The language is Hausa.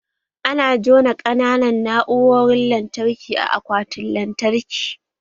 Ana juna ƙananan na'urorin lantarki a akwatin lantarki